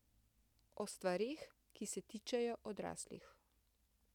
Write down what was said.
O stvareh, ki se tičejo odraslih.